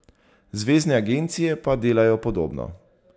Zvezne agencije pa delajo podobno.